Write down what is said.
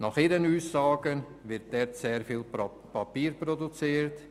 Nach ihren Aussagen wird dort sehr viel Papier produziert.